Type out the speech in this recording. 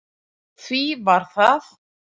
Því var það